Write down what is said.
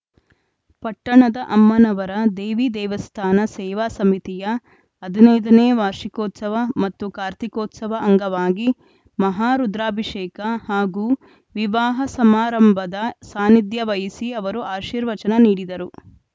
ಪಟ್ಟಣದ ಅಮ್ಮನಮರ ದೇವಿ ದೇವಸ್ಥಾನ ಸೇವಾ ಸಮಿತಿಯ ಹದಿನೈದ ನೇ ವಾರ್ಷಿಕೋತ್ಸವ ಮತ್ತು ಕಾರ್ತೀಕೋತ್ಸವ ಅಂಗವಾಗಿ ಮಹಾರುದ್ರಾಭಿಷೇಕ ಹಾಗೂ ವಿವಾಹ ಸಮಾರಂಭದ ಸಾನ್ನಿಧ್ಯ ವಹಿಸಿ ಅವರು ಆಶೀರ್ವಚನ ನೀಡಿದರು